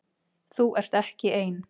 Þú ert ekki ein.